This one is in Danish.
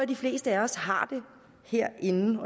de fleste af os herinde